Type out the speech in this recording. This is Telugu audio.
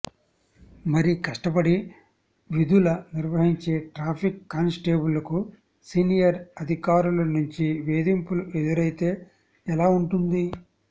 మరి కష్టపడి విధులు నిర్వహించే ట్రాఫిక్ కానిస్టేబుళ్లకు సీనియర్ అధికారుల నుంచి వేధింపులు ఎదురైతే ఎలా ఉంటుంది